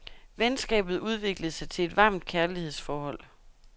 Venskabet udviklede sig til et varmt kærlighedsforhold.